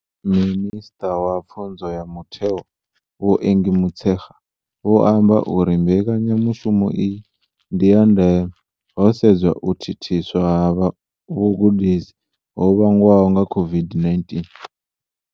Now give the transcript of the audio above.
Minisṱa wa Pfunzo ya Mutheo Vho Angie Motshekga vho amba uri mbekanyamushumo iyi ndi ya ndeme, ho sedzwa u thithiswa ha vhugudisi ho vhangwaho nga COVID-19.